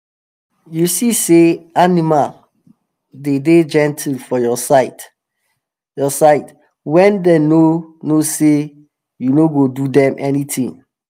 you go see say animal dey dey gentle for your side your side wen dem no know say you no go do dem anything.